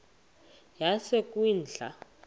yasekwindla